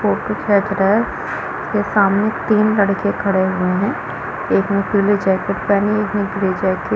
Photo खेंच रहा है उसके सामने तीन लड़के खड़े हुए है एक ने पीले जैकेट पहनी है एक ने ब्लू जैकेट ।